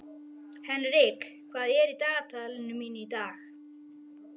Henrik, hvað er í dagatalinu mínu í dag?